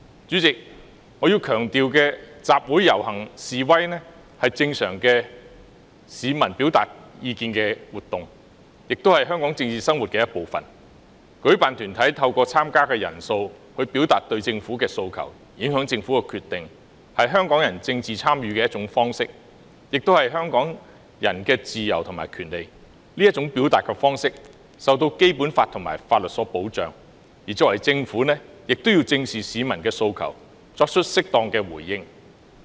主席，我要強調，集會和遊行示威是市民表達意見的正常活動，亦是香港政治生活的一部分，舉辦團體透過參加人數表達對政府的訴求，影響政府的決定，是香港人政治參與的一種方式，亦是香港人的自由和權利，這種表達方式受《基本法》和法律所保障，而政府亦要正視市民的訴求，作出適當的回應。